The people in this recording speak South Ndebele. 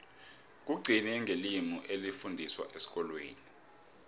kugcine ngelimi elifundiswa esikolweni